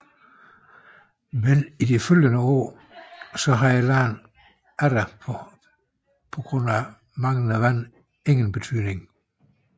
Men i de følgende år havde landet atter på grund af manglende vand ingen betydning